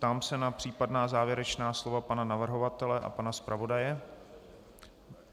Ptám se na případná závěrečná slova pana navrhovatele a pana zpravodaje.